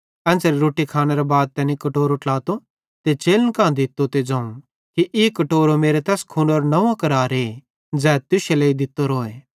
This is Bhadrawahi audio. एन्च़रे रोट्टी खानेरे बाद तैनी कटोरो ट्लातो ते चेलन कां दित्तो ते ज़ोवं कि ई कटोरो मेरो तैस खूनेरो नंव्वो करारे ज़ै तुश्शे लेइ दित्तोरोए